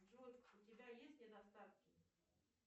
джой у тебя есть недостатки